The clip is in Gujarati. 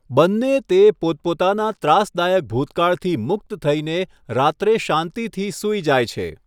બંને તે પોતપોતાના ત્રાસદાયક ભૂતકાળથી મુક્ત થઈને રાત્રે શાંતિથી સૂઈ જાય છે.